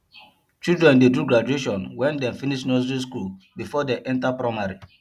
children dey do graduation wen dem finish nursey skool before dey enta primary